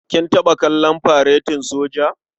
Kin taɓa kallon faretin soja?